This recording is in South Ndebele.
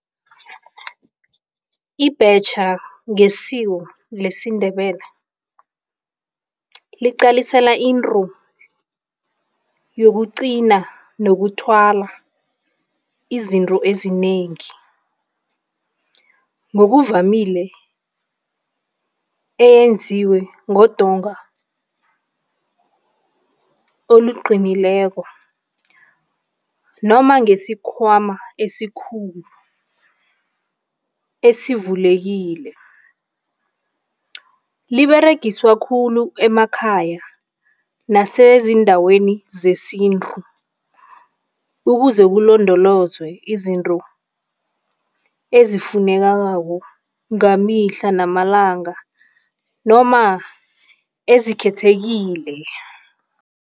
Ibhetjha ngesiko lesiNdebele liqalisela into yokuqina nokuthwala izinto ezinengi, ngokuvamile eyenziwe ngodonga oluqinileko noma ngesikhwama esikhulu esivulekile. Liberegiswa khulu emakhaya nasezindaweni zesintu ukuze kulondolozwe izinto ezifunekako ngamihla namalanga noma ezikhethekile.